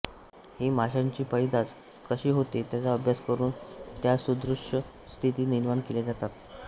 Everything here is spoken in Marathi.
ही माशांची पैदास कशी होते त्याचा अभ्यास करून त्यासदृष्य स्थिती निर्माण केल्या जातात